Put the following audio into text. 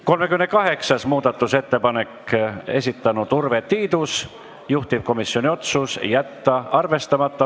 38. muudatusettepaneku on esitanud Urve Tiidus, juhtivkomisjoni otsus: jätta arvestamata.